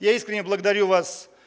я искренне благодарю вас